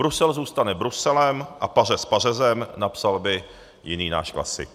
Brusel zůstane Bruselem a pařez pařezem, napsal by jiný náš klasik.